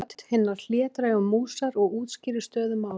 Ég tala með rödd hinnar hlédrægu músar og útskýri stöðu mála.